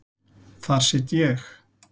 Þar sit ég.